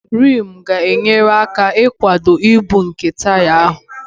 Rimu ga-enyere aka ịkwado ibu nke taya ahụ